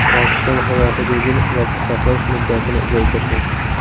Pokiston havo hududini yopiq saqlash muddatini uzaytirdi.